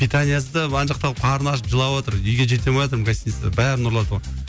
питаниесі де ана жақта қалып қарны ашып жылаватыр үйге жете алмайатырмын гостиницаға бәрін ұрлатып алып